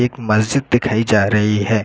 एक मस्जिद दिखाई जा रही है।